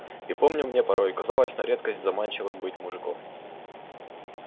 и помню мне порой казалось на редкость заманчивым быть мужиком